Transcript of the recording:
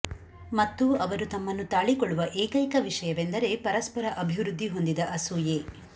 ಮತ್ತು ಅವರು ತಮ್ಮನ್ನು ತಾಳಿಕೊಳ್ಳುವ ಏಕೈಕ ವಿಷಯವೆಂದರೆ ಪರಸ್ಪರ ಅಭಿವೃದ್ಧಿ ಹೊಂದಿದ ಅಸೂಯೆ